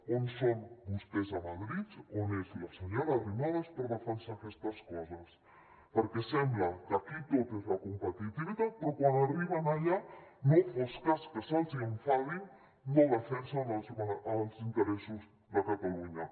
on són vostès a madrid on és la senyora arrimadas per defensar aquestes coses perquè sembla que aquí tot és la competitivitat però quan arriben allà no fos cas que se’ls enfadin no defensen els interessos de catalunya